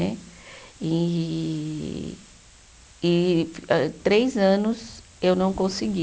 Né. E e âh três anos eu não consegui.